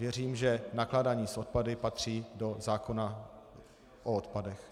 Věřím, že nakládání s odpady patří do zákona o odpadech.